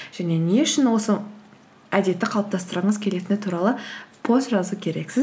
және не үшін сол әдетті қалыптастырғыңыз келетіні туралы пост жазу керексіз